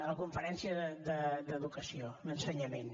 la conferència d’educació d’ensenyament